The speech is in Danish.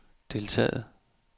deltaget